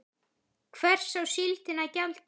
Hvers á síldin að gjalda?